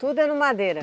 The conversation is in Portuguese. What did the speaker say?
Tudo é no madeira?